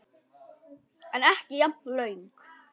En ekki jafn löng.